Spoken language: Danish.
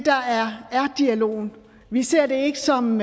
dialogen vi ser det ikke som